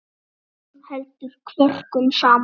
Hún heldur kvörkum saman.